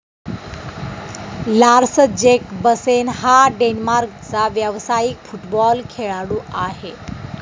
Lars Jacobsen हा डेन्मार्कचा व्यावसायिक फुटबॉल खेळाडू आहे.